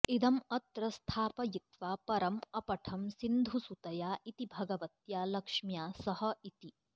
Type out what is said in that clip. इदम् अत्र स्थापयित्वा परं अपठं सिन्धुसुतया इति भगवत्या लक्ष्म्या सह इति